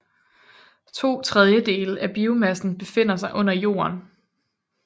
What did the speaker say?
To tredjedele af biomassen befinder sig under jorden